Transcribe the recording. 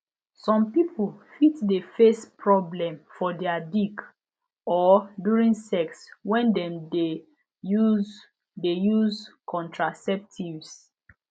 some people fit de face problem for their dick or during sex when dem de use de use contraceptives